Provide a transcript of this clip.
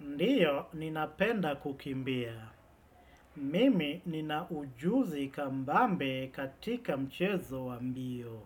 Ndiyo ninapenda kukimbia. Mimi ninaujuzi kambambe katika mchezo wa mbio.